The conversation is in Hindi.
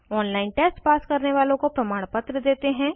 ऑनलाइन टेस्ट पास करने वालों को प्रमाणपत्र देते हैं